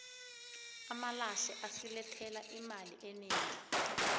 amalahle asilethela imali enegi